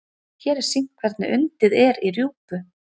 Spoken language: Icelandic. hér er sýnt hvernig undið er í rjúpu